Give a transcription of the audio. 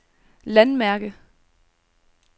landmærke